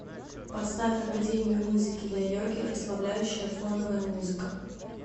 поставь академию музыки для йоги расслабляющая фоновая музыка